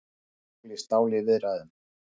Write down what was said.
Stál í stál í viðræðum